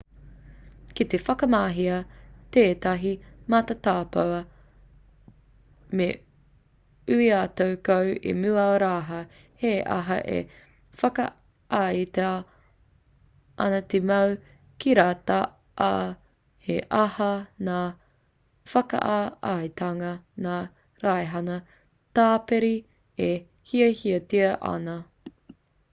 ki te whakamahia tētahi matatopa me ui atu koe i mua rawa he aha e whakaaetia ana te mau kiriata ā he aha ngā whakaaetanga ngā raihana tāpiri e hiahiatia ana